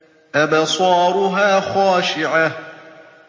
أَبْصَارُهَا خَاشِعَةٌ